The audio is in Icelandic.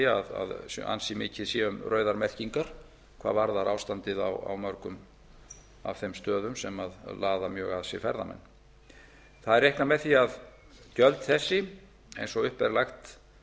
segja að ansi mikið sé um rauðar merkingar hvað varðar ástandið á mörgum af þeim stöðum sem laða mjög að sér ferðamenn reiknað er með því að gjöld þessi eins og upp er lagt